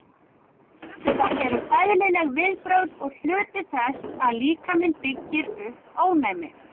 Þetta eru eðlileg viðbrögð og hluti þess að líkaminn byggir upp ónæmi.